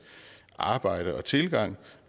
arbejde og tilgang